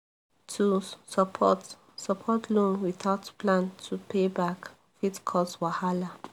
to support support loan without plan to pay back fit cause wahala